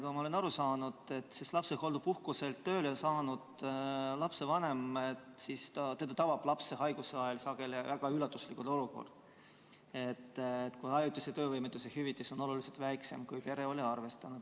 Nagu ma olen aru saanud, lapsehoolduspuhkuselt tööle saabunud lapsevanemat tabab lapse haiguse ajal sageli väga suure üllatusena, et ajutise töövõimetuse hüvitis on oluliselt väiksem, kui pere oli arvestanud.